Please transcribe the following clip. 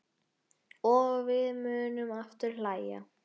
Og við munum aftur hlæja.